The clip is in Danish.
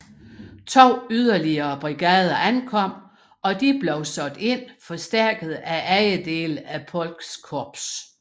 To yderligere brigader ankom og de blev sat ind forstærket af andre dele af Polks korps